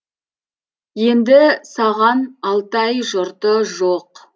енді саған алтай жұрты жоқ